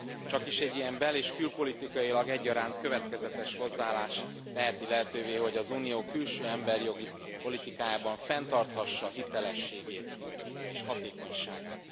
Csakis egy ilyen bel és külpolitikailag egyaránt következetes hozzáállás teheti lehetővé, hogy az Unió külső emberi jogi politikájában fenntarthassa hitelességét és hatékonyságát.